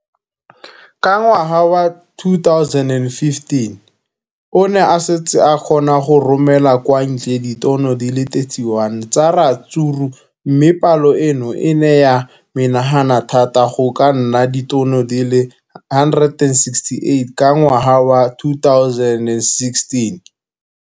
Ka ngwaga wa 2015, o ne a setse a kgona go romela kwa ntle ditone di le 31 tsa ratsuru mme palo eno e ne ya menagana thata go ka nna ditone di le 168 ka ngwaga wa 2016.